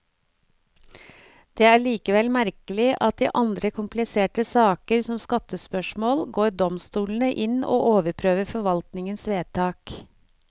Det er likevel merkelig at i andre kompliserte saker, som skattespørsmål, går domstolene inn og overprøver forvaltningens vedtak.